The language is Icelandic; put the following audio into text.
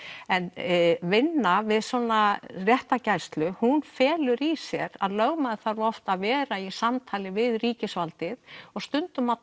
en vinna við svona réttargæslu hún felur í sér að lögmaður þarf oft að vera í samtali við ríkisvaldið og stundum að